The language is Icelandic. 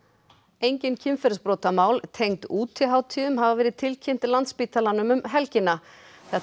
engin kynferðisbrotamál tengd útihátíðum hafa verið tilkynnt Landspítalanum um helgina þetta